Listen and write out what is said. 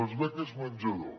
les beques menjador